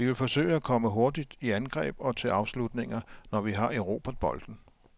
Vi vil forsøge at komme hurtigt i angreb og til afslutninger, når vi har erobret bolden.